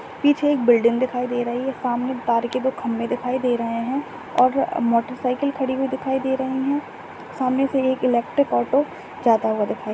पीछे एक बिल्डिंग दिखाई दे रही है। सामने तार के दो खंबे दिखाई दे रहे है और मोटर साइकल खड़ी हुई दिखाई दे रही है। सामने से एक इलेक्ट्रिक ऑटो जाता हुआ दिखाई--